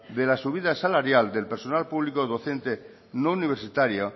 de la subida salarial del personal público docente no universitario